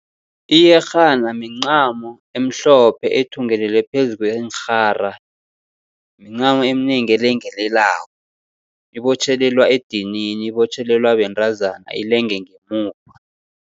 Iyerhana mincamo emhlophe ethungelelwe phezu kweenrhara, mincamo eminengi elengelelako, ibotjhelelwa edinini, ibotjhelelwa bentazana ilenge ngemuva.